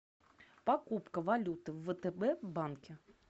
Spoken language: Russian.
покупка валюты в втб банке